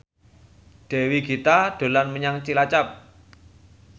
Dewi Gita dolan menyang Cilacap